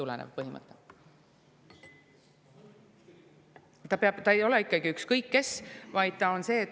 Ei ole ikkagi nii, et ükskõik keda.